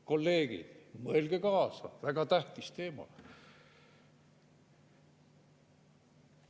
Kolleegid, mõelge kaasa, väga tähtis teema!